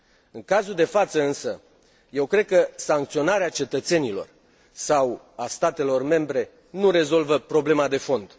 În cazul de față, însă, eu cred că sancționarea cetățenilor sau a statelor membre nu rezolvă problema de fond.